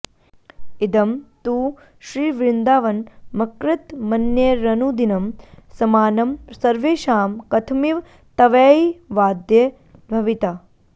इदं तु श्रीवृन्दावनमकृतमन्यैरनुदिनं समानं सर्वेषां कथमिव तवैवाद्य भविता